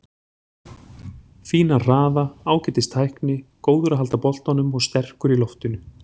Fínan hraða, ágætis tækni, góður að halda boltanum og sterkur í loftinu.